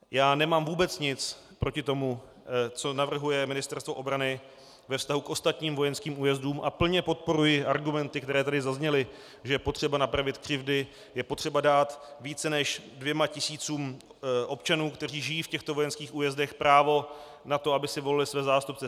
Já nemám vůbec nic proti tomu, co navrhuje Ministerstvo obrany ve vztahu k ostatním vojenským újezdům, a plně podporuji argumenty, které tady zazněly, že je potřeba napravit křivdy, je potřeba dát více než dvěma tisícům občanů, kteří žijí v těchto vojenských újezdech, právo na to, aby si volili své zástupce.